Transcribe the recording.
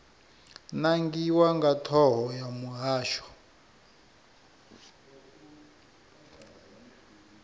nangiwa nga thoho ya muhasho